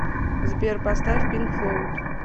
сбер поставь пинк флоуд